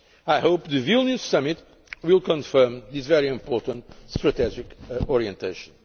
I hope the Vilnius Summit will confirm this very important strategic orientation.